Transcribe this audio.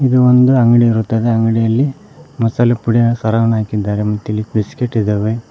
ಇದು ಒಂದು ಅಂಗಡಿಯ ಇರುತ್ತದೆ ಅಂಗಡಿಯಲ್ಲಿ ಮಸಾಲಾ ಪುಡಿಯ ಸರವನ್ನು ಹಾಕಿದ್ದಾರೆ ಮತ್ತೆ ಇಲ್ಲಿ ಬಿಸ್ಕೆಟ್ ಇದಾವೆ.